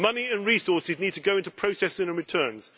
Money and resources need to go into processing and returns.